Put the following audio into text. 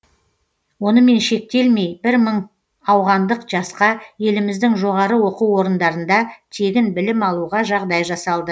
онымен шектелмей бір мың ауғандық жасқа еліміздің жоғары оқу орындарында тегін білім алуға жағдай жасалды